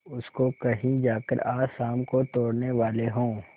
उसको कहीं जाकर आज शाम को तोड़ने वाले हों